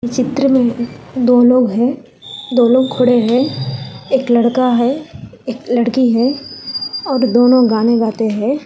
चित्र में दो लोग है दोनों खड़े हैं एक लड़का है एक लड़की है और दोनों गाने गाते हैं।